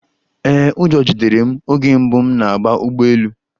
Ee, ụjọ jidere m oge mbụ m na-agba ụgbọ elu